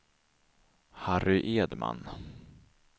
Harry Edman